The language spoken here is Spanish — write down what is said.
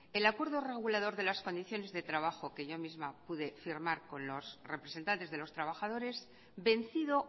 el acuerdo regulador de las condiciones de trabajo que yo misma pude firmar con los representantes de los trabajadores vencido